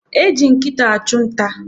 Eji nkịta achụ nta.